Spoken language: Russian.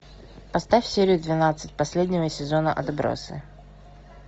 поставь серию двенадцать последнего сезона отбросы